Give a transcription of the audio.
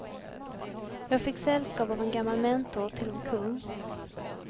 Jag fick sällskap av en gammal mentor till vår kung.